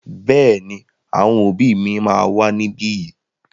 Bẹ́ẹ̀ ni, àwọn òbí mi wà níbí yìí.